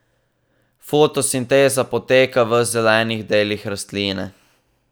Fotosinteza poteka v zelenih delih rastline.